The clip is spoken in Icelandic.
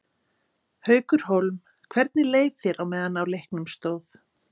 Haukur Hólm: Hvernig leið þér á meðan á leiknum stóð?